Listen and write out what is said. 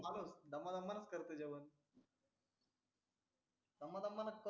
दमा दमा नच करते जोवण दमा दमा कर